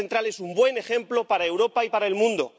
Madrid Central es un buen ejemplo para Europa y para el mundo.